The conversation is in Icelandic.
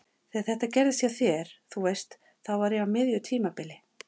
Þegar þetta gerðist hjá þér. þú veist. þá var ég á miðju tímabili.